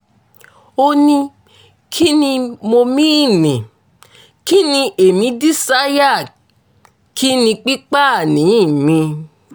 ó ní kín ni mo mìíní kín ní èmi dísáyà kín ní pípáàní mi